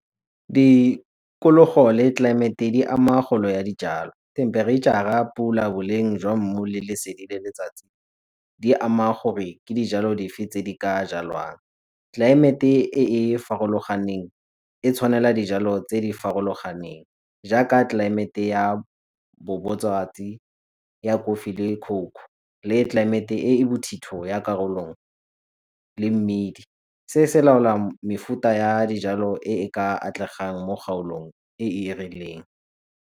le tlelaemete di ama kgolo ya dijalo. Themperetšhara, pula, boleng jwa mmu, lesedi le letsatsi di ama gore ke dijalo dife tse di ka jalwang. Tlelaemete e e farologaneng e tshwanela dijalo tse di farologaneng jaaka tlelaemete ya ya kofi le le tlelaemete e e bothito ya karolo le mmidi. Se se laola mefuta ya dijalo e e ka atlegang mo kgaolong e e rileng.